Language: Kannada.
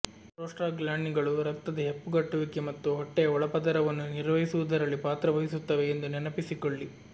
ಪ್ರೋಸ್ಟಾಗ್ಲಾಂಡಿನ್ಗಳು ರಕ್ತದ ಹೆಪ್ಪುಗಟ್ಟುವಿಕೆ ಮತ್ತು ಹೊಟ್ಟೆಯ ಒಳಪದರವನ್ನು ನಿರ್ವಹಿಸುವುದರಲ್ಲಿ ಪಾತ್ರವಹಿಸುತ್ತವೆ ಎಂದು ನೆನಪಿಸಿಕೊಳ್ಳಿ